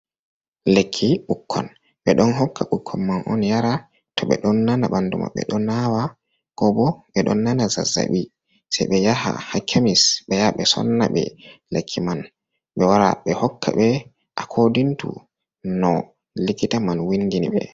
Lekki ɓukkon, ɓe ɗon hokka ɓukkan man on yara, to ɓe ɗon nana ɓandu maɓɓe ɗon nawa, ko bo ɓe ɗon nana zazabi, se ɓe yaha ha kemis be ya ɓe sonna ɓe lekki man ɓe waara ɓe hokka ɓe akodintu no likita man windini ɓe.